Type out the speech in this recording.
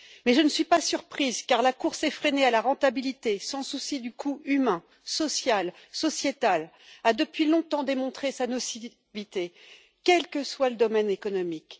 Mais je ne suis pas surprise, car la course effrénée à la rentabilité, sans souci du coût humain, social, sociétal, a depuis longtemps démontré sa nocivité, quel que soit le domaine économique.